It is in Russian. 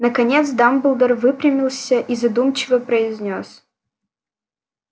наконец дамблдор выпрямился и задумчиво произнёс